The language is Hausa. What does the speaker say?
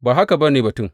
Ba haka ba ne batun.